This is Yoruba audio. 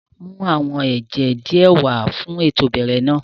Mu àwọn ẹjẹ diẹ wà fun éto ìbẹrẹ náa!